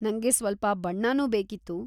ನಂಗೆ ಸ್ವಲ್ಪ ಬಣ್ಣನೂ ಬೇಕಿತ್ತು.